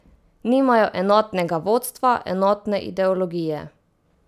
Nimajo enotnega vodstva, enotne ideologije.